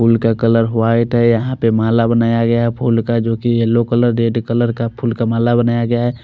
फूल का colour white है यहाँ पे माला बनाया गया है फूल का जो कि येलो कलर रेड कलर का फूल का माला बनाया गया है।